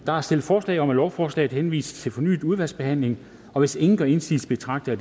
der er stillet forslag om at lovforslaget henvises til fornyet udvalgsbehandling og hvis ingen gør indsigelse betragter